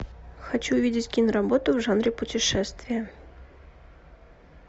хочу видеть киноработу в жанре путешествия